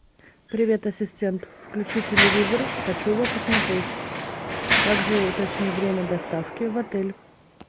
привет ассистент включи телевизор хочу его посмотреть также уточни время доставки в отель